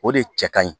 O de cɛ ka ɲi